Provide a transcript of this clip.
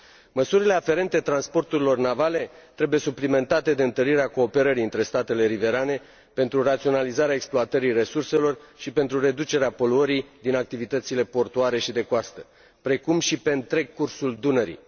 Măsurile aferente transporturilor navale trebuie suplimentate de întărirea cooperării între statele riverane pentru raționalizarea exploatării resurselor și pentru reducerea poluării din activitățile portuare și de coastă, precum și pe întreg cursul Dunării.